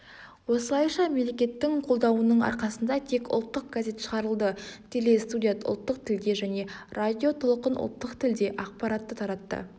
осылайша мемлекеттің қолдауының арқасында тек ұлттық газет шығарылды телестудия ұлттық тілде және радиотолқын ұлттық тілде ақпарат таратты